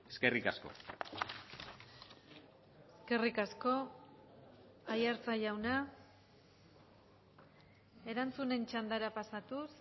eskerrik asko eskerrik asko aiartza jauna erantzunen txandara pasatuz